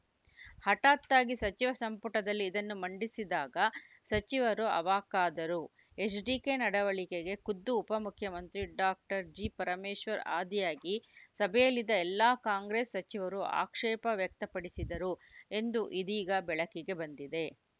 ಹಠಾತ್ತಾಗಿ ಸಚಿವ ಸಂಪುಟದಲ್ಲಿ ಇದನ್ನು ಮಂಡಿಸಿದಾಗ ಸಚಿವರು ಅವಾಕ್ಕಾದರು ಎಚ್‌ಡಿಕೆ ನಡವಳಿಕೆಗೆ ಖುದ್ದು ಉಪ ಮುಖ್ಯಮಂತ್ರಿ ಡಾಕ್ಟರ್ ಜಿ ಪರಮೇಶ್ವರ್‌ ಆದಿಯಾಗಿ ಸಭೆಯಲ್ಲಿದ್ದ ಎಲ್ಲಾ ಕಾಂಗ್ರೆಸ್‌ ಸಚಿವರು ಆಕ್ಷೇಪ ವ್ಯಕ್ತಪಡಿಸಿದರು ಎಂದು ಇದೀಗ ಬೆಳಕಿಗೆ ಬಂದಿದೆ